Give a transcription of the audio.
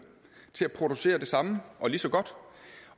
til at producere det samme og lige så godt